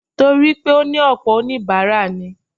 Torí pé ó ní ọ̀pọ̀ oníbàárà ni.